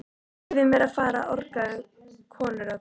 Leyfið mér að fara orgaði konurödd.